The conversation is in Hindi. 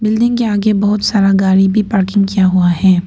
बिल्डिंग के आगे बहोत सारा गाड़ी भी पार्किंग किया हुआ है।